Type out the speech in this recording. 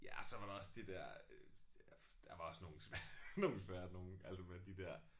Ja så var der også de der øh der var også nogle nogle svære nogle altså med de der